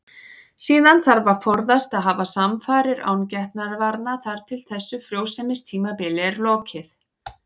Síðan þarf að forðast að hafa samfarir án getnaðarvarna þar til þessu frjósemistímabili er lokið.